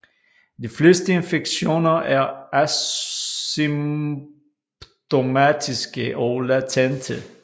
De fleste infektioner er asymptomatiske og latente